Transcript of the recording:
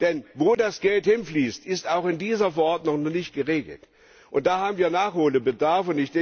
Denn wo das Geld hinfließt, ist auch in dieser Verordnung noch nicht geregelt. Da haben wir Nachholbedarf.